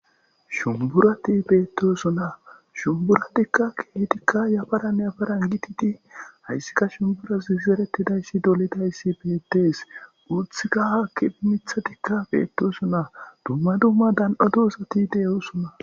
Shunburaati bettosona. Shunburatikka keethika heeran heeran giddidi, haysikka shunbura zerettidaysi uttidaysi bettees. Woysikka haa qiba mitsatikka bettosona, dumma dummadan lo'o asati de'osona.